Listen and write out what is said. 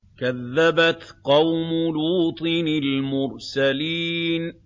كَذَّبَتْ قَوْمُ لُوطٍ الْمُرْسَلِينَ